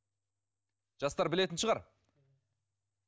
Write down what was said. жастар білетін шығар